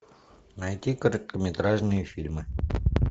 найти короткометражные фильмы